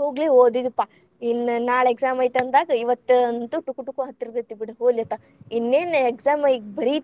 ಹೋಗ್ಲಿ ಓದಿದ್ವಿಪ್ಪಾ ಇನ್ನ್‌ ನಾಳೆ exam ಐತಂದಾಗ ಇವತ್ತ್‌ ಅಂತೂ ಟುಕು ಟುಕು ಹತ್ತಿರತೇತಿ ಬೀಡ ಹೋಗ್ಲಿ ಅತ್ತಾಗ ಇನ್ನೇನ exam ‌ ಈಗ ಬರೀತಿವಿ.